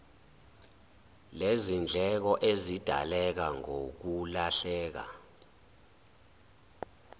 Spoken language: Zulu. lezindleko ezidaleka ngokulahleka